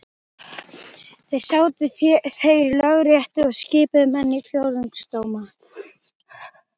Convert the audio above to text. Þar sátu þeir í Lögréttu og skipuðu menn í fjórðungsdóma.